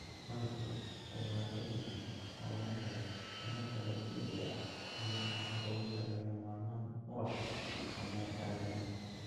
Malabku waa il wanaagsan oo laga helo tamarta dabiiciga ah iyo nafaqooyinka lagama maarmaanka u ah caafimaadka aadanaha.